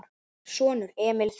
Sonur: Emil Þeyr.